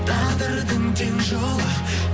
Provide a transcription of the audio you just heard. тағдырдың тең жолы